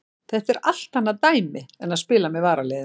Þetta er allt annað dæmi en að spila með varaliðinu.